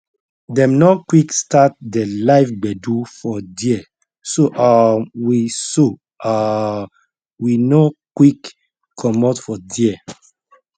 dem nor quick start de live gbedu for there so um we so um we nor quick commot for there